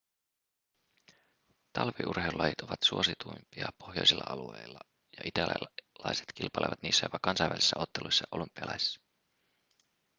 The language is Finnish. talviurheilulajit ovat suosituimpia pohjoisilla alueilla ja italialaiset kilpailevat niissä jopa kansainvälisissä otteluissa ja olympialaisissa